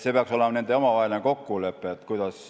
See peaks olema nende omavaheline kokkulepe.